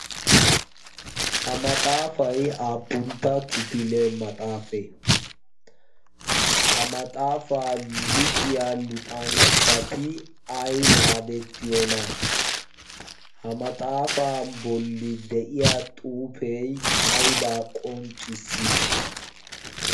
ha maxaafai aappuntta kifile maxxaafee? ha maxxaafaa luxiya luxanchchati ai maadettiyoona? ha maxaafaa bolli de7iya xuufee aibaa qonccissii?